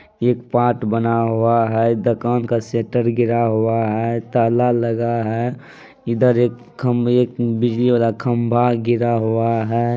एक पार्ट बना हुआ है दकान का सेटर गिरा हुआ है ताला लगा है इधर एक खम्भे बिजली वाला खम्भा गिरा हुआ है।